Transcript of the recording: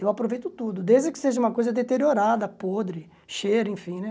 Eu aproveito tudo, desde que seja uma coisa deteriorada, podre, cheira, enfim, né?